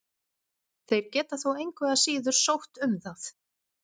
Þeir geta þó engu að síður sótt um það.